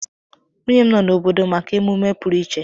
Nwunye m nọ n'obodo maka emume pụrụ iche